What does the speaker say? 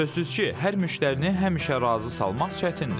Sözsüz ki, hər müştərini həmişə razı salmaq çətindir.